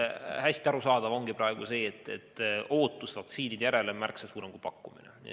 Hästi arusaadav on see, et ootus vaktsiinide järele on praegu märksa suurem kui pakkumine.